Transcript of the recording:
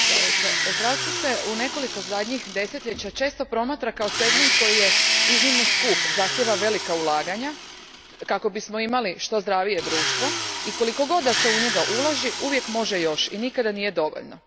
Gospodine predsjedniče, zdravstvo se u nekoliko zadnjih desetljeća često promatra kao segment koji je iznimno skup, zahtjeva velika ulaganja kako bismo imali što zdravije društvo i koliko god se u njega ulaže, uvijek može još i nikada nije dovoljno.